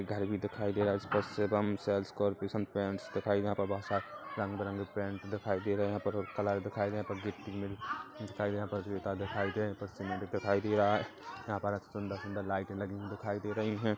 घर भी दिखाई दे रहा है इस पर शिवम सेल्स कॉर्पोरेशन पेंट दिखाई यहाँ पर बहोत सारे रंग-बिरंगे पेंट्स दिखाई दे रहे है यहाँ पर कलर दिखाई दिए यहाँ पर गिट्टी मिल दिखाई दे यहाँ पर ईंटा दिखाई दे यहाँ पर सीमेंट दिखाई दे रहा है यहाँ पर एक सुन्दर सुन्दर लाइटें लगी हुई दिखाई दे रही है।